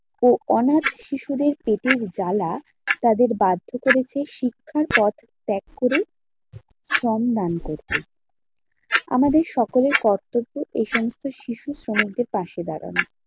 ও অনাথ শিশুদের পেটের জ্বালা তাদের বাধ্য করেছে শিক্ষার পথ ত্যাগ করে শ্রমদান করতে আমাদের সকলের কর্তব্য এই সমস্ত শিশু শ্রমিকদের পাশে দাঁড়ানো।